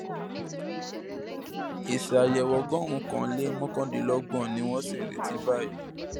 èsì àyẹwò ọgọrùnkan lé mọkàndínlọgbọn ni wọn sì ń retí báyìí